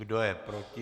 Kdo je proti?